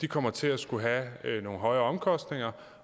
kommer til at skulle have nogle højere omkostninger